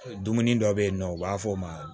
Dumuni dɔ bɛ yen nɔ u b'a fɔ o ma